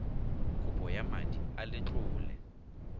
kopo ya madi a letlole